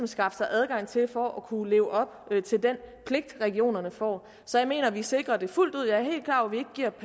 skaffe sig adgang til for at kunne leve op til den pligt regionerne får så jeg mener vi sikrer det fuldt ud jeg